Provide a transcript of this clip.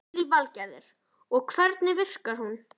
Lillý Valgerður: Og hvernig virkar hún?